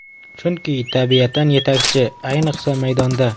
Chunki tabiatan yetakchi, ayniqsa maydonda.